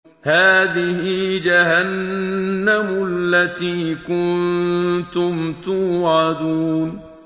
هَٰذِهِ جَهَنَّمُ الَّتِي كُنتُمْ تُوعَدُونَ